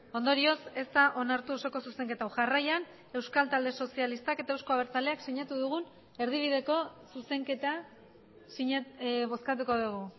ondorioz ez da onartu osoko zuzenketa hau jarraian euskal talde sozialistak eta euzko abertzaleak sinatu dugun erdibideko zuzenketa bozkatuko dugu